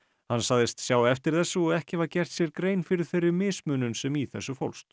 hann sagðist sjá eftir þessu og ekki hafa gert sér grein fyrir þeirri mismunun sem í þessu fólst